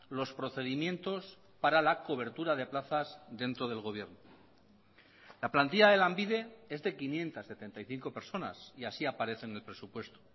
los procedimientos para la cobertura de plazas dentro del gobierno la plantilla de lanbide es de quinientos setenta y cinco personas y así aparece en el presupuesto